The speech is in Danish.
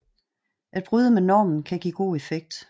At bryde med normen kan give god effekt